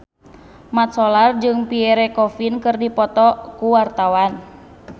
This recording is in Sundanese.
Mat Solar jeung Pierre Coffin keur dipoto ku wartawan